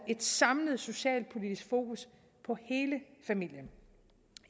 et samlet socialpolitisk fokus på hele familien